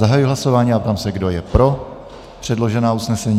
Zahajuji hlasování a ptám se, kdo je pro předložená usnesení.